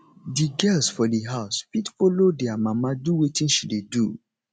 di girls for di house fit follow their mama do wetin she dey do